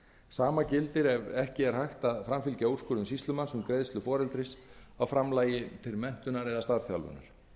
sama gildir ef ekki er hægt að framfylgja úrskurðum sýslumanns um greiðslu foreldris á framlagi til menntunar eða starfsþjálfunar